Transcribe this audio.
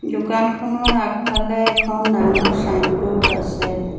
দোকানখনৰ আগফালে এখন ডাঙৰ ছাইনব'ৰ্ড আছে।